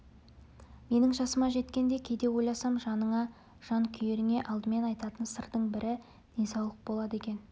менің жасыма жеткенде кейде ойласам жақыныңа жан күйеріңе алдымен айтатын сырдың бірі денсаулық болады екен